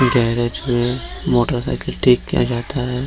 Garage में motorcycle ठीक किया जाता है।